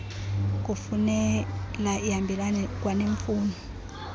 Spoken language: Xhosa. kufunela ihambelane kwaneemfuno